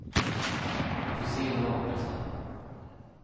Vi får se hur det artar sig.